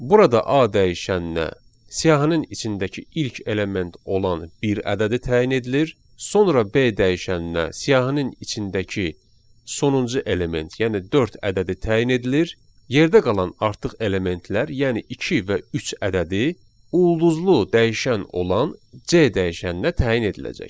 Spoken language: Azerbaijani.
Burada A dəyişəninə siyahının içindəki ilk element olan bir ədədi təyin edilir, sonra B dəyişəninə siyahının içindəki sonuncu element, yəni dörd ədədi təyin edilir, yerdə qalan artıq elementlər, yəni iki və üç ədədi ulduzlu dəyişən olan C dəyişəninə təyin ediləcək.